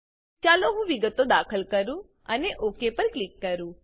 ચાલો હું વિગતો દાખલ કરું અને ઓક પર ક્લિક કરું